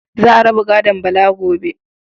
Za a raba gadon Bala gobe.